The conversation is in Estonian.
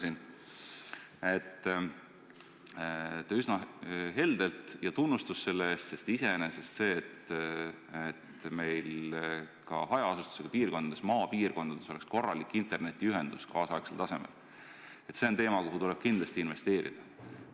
Te olete ühes valdkonnas üsna helde – ja tunnustus selle eest, sest iseenesest on vajalik, et meil ka hajaasustusega piirkondades, maapiirkondades on korralik, kaasaegsel tasemel internetiühendus, sinna tuleb kindlasti investeerida.